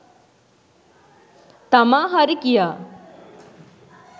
තමා හරි කියා.